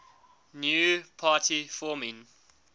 new party forming